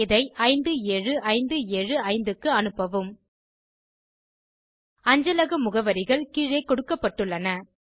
இதை 57575 க்கு அனுப்பவும் அஞ்சல முகவரிகள் கீழே கொடுக்கப்பட்டுள்ளன